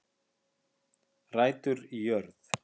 Rætur í jörð